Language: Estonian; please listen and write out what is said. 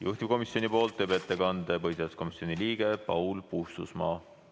Juhtivkomisjoni nimel teeb ettekande põhiseaduskomisjoni liige Paul Puustusmaa.